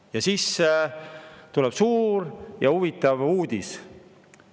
Ja siis tuleb suur ja huvitav uudis.